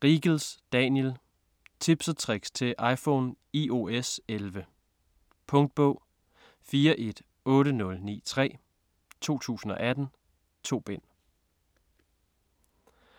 Riegels, Daniel: Tips & tricks til iPhone iOS11 Punktbog 418093 2018. 2 bind.